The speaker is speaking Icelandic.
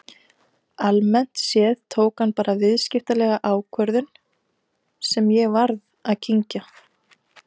Almennt séð tók hann bara viðskiptalega ákvörðun sem ég varð að kyngja.